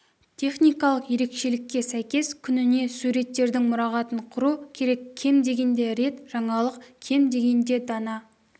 техникалық ерекшелікке сәйкес күніне суреттердің мұрағатын құру керек кем дегенде рет жаңалық кем дегенде дана